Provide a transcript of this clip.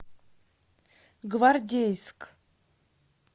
гвардейск